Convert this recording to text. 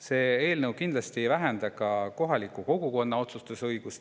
See eelnõu kindlasti ei vähenda ka kohaliku kogukonna otsustusõigust.